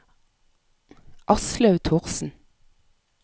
Aslaug Thorsen